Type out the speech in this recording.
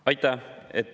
Aitäh!